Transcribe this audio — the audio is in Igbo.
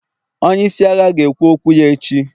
onye isi agha, ga-ekwu okwu ya echi